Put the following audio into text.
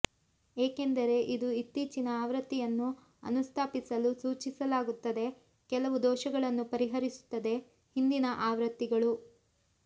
ಏಕೆಂದರೆ ಇದು ಇತ್ತೀಚಿನ ಆವೃತ್ತಿಯನ್ನು ಅನುಸ್ಥಾಪಿಸಲು ಸೂಚಿಸಲಾಗುತ್ತದೆ ಕೆಲವು ದೋಷಗಳನ್ನು ಪರಿಹರಿಸುತ್ತದೆ ಹಿಂದಿನ ಆವೃತ್ತಿಗಳು